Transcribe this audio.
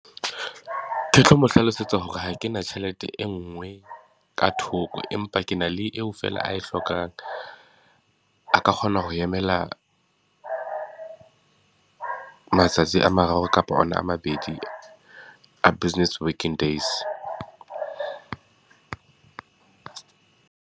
Ke tlo mo hlalosetsa hore ha ke na tjhelete e nngwe ka thoko empa ke na le eo fela ae hlokang. A ka kgona ho emela a matsatsi a mararo kapa ona a mabedi a business working days.